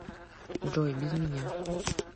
джой без меня